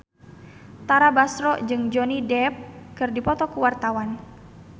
Tara Basro jeung Johnny Depp keur dipoto ku wartawan